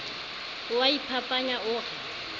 o a iphapanya o re